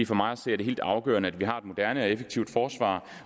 for mig at se er det helt afgørende at vi har et moderne og effektivt forsvar